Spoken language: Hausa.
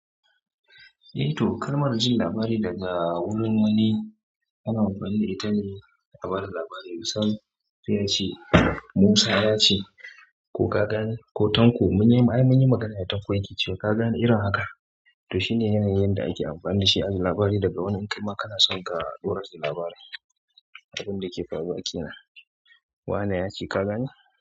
Eh to, kalmar jin labari daga wurin wani ana amfani da ita ne na bada labari. Usman yace Musa yace ko ka gani ko Tanko mun yi magana da Tanko ya ce ka gani irin haka. To shine yanayin da ake amfani da shi a ji labari daga wani in kaima kana son ka ɗora shi labarin abin da ke faruwa kenan. Wa ne yace ka gani.